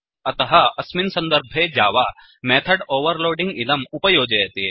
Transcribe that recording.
अतः अस्मिन् सन्दर्भे जावा मेथड् ओवेर्लोडिङ्ग् इदम् उपयोजयति